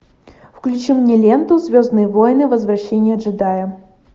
включи мне ленту звездные войны возвращение джедая